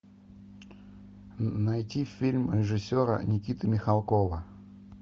найти фильм режиссера никиты михалкова